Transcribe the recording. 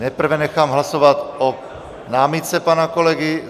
Nejprve nechám hlasovat o námitce pana kolegy.